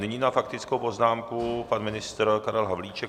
Nyní na faktickou poznámku pan ministr Karel Havlíček.